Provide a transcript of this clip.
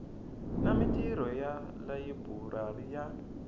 na mintirho ya layiburari ya